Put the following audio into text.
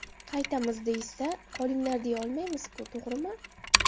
Qaytamiz, deyishsa, qolinglar deya olmaymiz-ku, to‘g‘rimi?